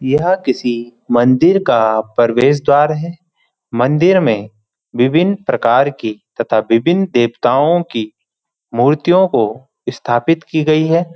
यह किसी मंदिर का प्रवेश द्वार है मंदिर में विभिन्न प्रकार की तथा विभिन्न देवताओँ की मूर्तियों को स्थापित किया गया है।